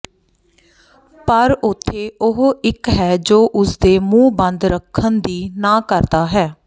ਪਰ ਉੱਥੇ ਉਹ ਇੱਕ ਹੈ ਜੋ ਉਸ ਦੇ ਮੂੰਹ ਬੰਦ ਰੱਖਣ ਦੀ ਨਾ ਕਰਦਾ ਹੈ